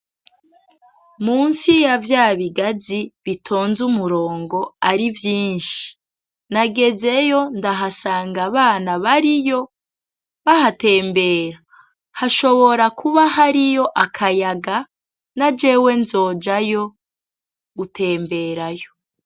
Munsi ya vyabigazi bitonze umurongo akaba arivyinshi, nagezeyo ndahasanga abana bariyo bahatembera hashobora kuba hariyo akayaga na jewe nzojayo gutemberayo.